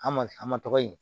An ma an ma tɔgɔ di